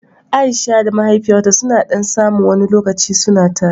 Aisha da mahaifiyarta suni ɗan samu wani lokaci suna tare